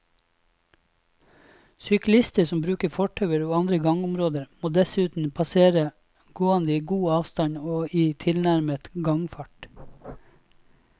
Syklister som bruker fortauer og andre gangområder, må dessuten passere gående i god avstand og i tilnærmet gangfart.